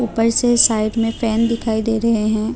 ऊपर से साइड में फन दिखाई दे रहे हैं।